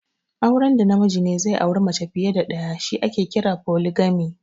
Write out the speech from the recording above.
Auren da namiji ze auri mace fiya da ɗaya shi ake kira 'Folijini'